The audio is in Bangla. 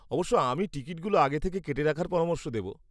-অবশ্য, আমি টিকিটগুলো আগে থেকে কেটে রাখার পরামর্শ দেব।